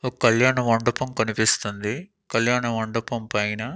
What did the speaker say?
ఒక్ కళ్యాణమండపం కనిపిస్తుంది కళ్యాణ మండపం పైన--